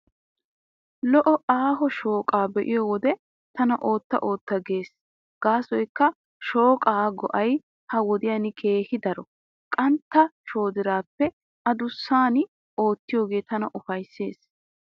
Lo'o aaho shooqaa be'iyo wode tana ootta ootta gees gaasoykka shooqaa go'ay ha wodiyan keehi daro. Qantta shoodiraappe adussan oottiyoogee tana ufayssees.